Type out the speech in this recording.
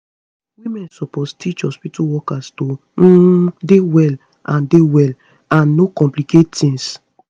women suppose teach hospitu workers to um dey well dey well and no complicate tings